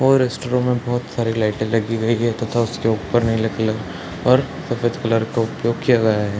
और रेस्टरों में बहोत सारी लाइटे लगी गयी है तथा उसके ऊपर में नीले कलर और सफ़ेद कलर का उपयोग किया गया है।